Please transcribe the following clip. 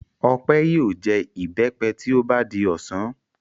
Ọpẹ́ yóò jẹ ìbẹ́pẹ tí ó bá di ọ̀sán.